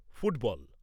football